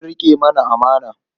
Zan riƙe ta amana.